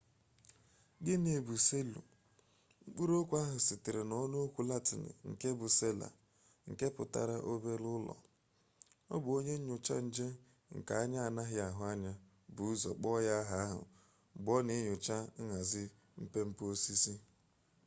gịnị bụ seelụ mkpụrụ okwu ahụ sitere na ọnụokwu latịn nke bụ sela nke pụtara obere ụlọ ọ bụ onye nyocha nje nke anya anaghị ahụ anya bu ụzọ kpọọ ya aha ahụ mgbe ọ na enyocha nhazi mpe mpe osisi